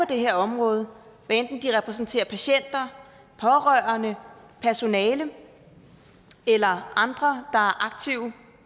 det her område hvad enten de repræsenterer patienter pårørende personale eller andre er aktive